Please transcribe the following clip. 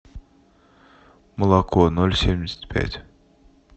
молоко ноль семьдесят пять